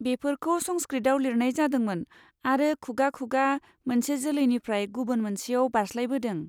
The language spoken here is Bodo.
बेफोरखौ संस्कृतआव लिरनाय जादोंमोन आरो खुगा खुगा मोनसे जोलैनिफ्राय गुबुन मोनसेयाव बारस्लायबोदों।